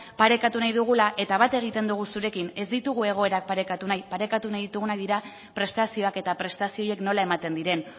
parekatu nahi dugula eta bat egiten dugu zurekin ez ditugu egoerak parekatu nahi parekatu nahi ditugunak dira prestazioak eta prestazio horiek nola ematen diren